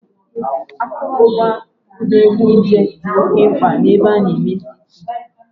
sterilizing akụrụngwa dị oke mkpa na a Ụlọ Mmanya